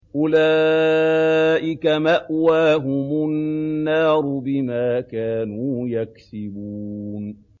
أُولَٰئِكَ مَأْوَاهُمُ النَّارُ بِمَا كَانُوا يَكْسِبُونَ